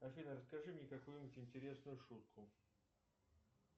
афина расскажи мне какую нибудь интересную шутку